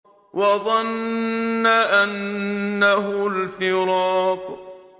وَظَنَّ أَنَّهُ الْفِرَاقُ